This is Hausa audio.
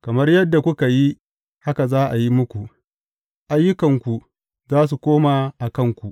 Kamar yadda kuka yi, haka za a yi muku; ayyukanku za su koma a kanku.